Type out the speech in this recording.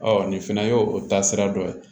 nin fana ye o taasira dɔ ye